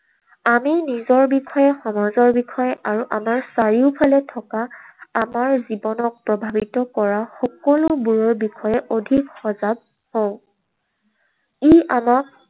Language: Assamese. আমি নিজৰ বিষয়ে, সমাজৰ বিষয়ে আৰু আমাৰ চাৰিওফালে থকা আমাৰ জীৱনক প্ৰভাৱিত কৰা সকলোবোৰৰ বিষয়ে অধিক সজাগ হওঁ। ই আমাক